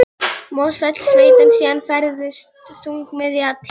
Mosfellssveit, en síðan færðist þungamiðjan til